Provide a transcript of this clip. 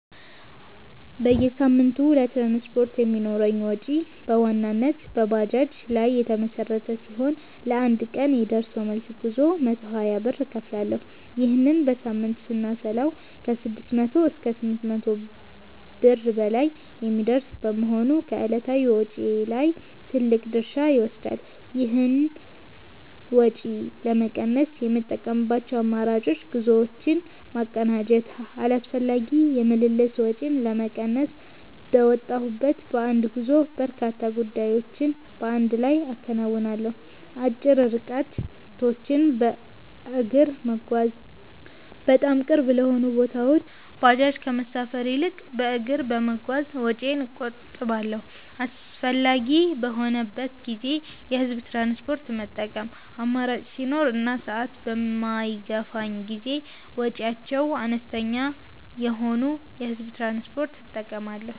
በየሳምንቱ ለትራንስፖርት የሚኖረኝ ወጪ በዋናነት በባጃጅ ላይ የተመሠረተ ሲሆን፣ ለአንድ ቀን የደርሶ መልስ ጉዞ 120 ብር እከፍላለሁ። ይህንን በሳምንት ስናሰላው ከ600 እስከ 800 ብር በላይ የሚደርስ በመሆኑ ከዕለታዊ ወጪዬ ላይ ትልቅ ድርሻ ይወስዳል። ይህን ወጪ ለመቀነስ የምጠቀምባቸው አማራጮች፦ ጉዞዎችን ማቀናጀት፦ አላስፈላጊ የምልልስ ወጪን ለመቀነስ፣ በወጣሁበት በአንድ ጉዞ በርካታ ጉዳዮችን በአንድ ላይ አከናውናለሁ። አጭር ርቀቶችን በእግር መጓዝ፦ በጣም ቅርብ ለሆኑ ቦታዎች ባጃጅ ከመሳፈር ይልቅ በእግር በመጓዝ ወጪዬን እቆጥባለሁ። አስፈላጊ በሚሆንበት ጊዜ የህዝብ ትራንስፖርት መጠቀም፦ አማራጭ ሲኖር እና ሰዓት በማይገፋኝ ጊዜ ወጪያቸው አነስተኛ የሆኑ የህዝብ ትራንስፖርቶችን እጠቀማለሁ።